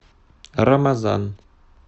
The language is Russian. рамазан